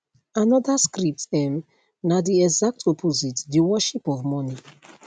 anoda script um na di exact opposite di worship of money